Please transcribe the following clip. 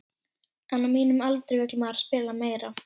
En á mínum aldri vill maður spila meira.